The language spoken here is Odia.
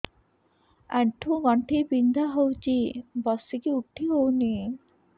ଆଣ୍ଠୁ ଗଣ୍ଠି ବିନ୍ଧା ହଉଚି ବସିକି ଉଠି ହଉନି